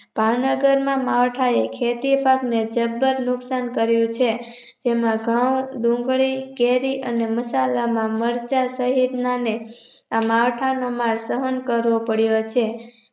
ભાવનગરના માવઠાએ ખેતી પાકને જબર નુકશાન કર્યું છે તેમાં ધઉં ડુંગળી કેરી અને મસાલા માં મરચાં સહિતનાને આ માવઠાંનો માર સહન કરવો પડ્યો છે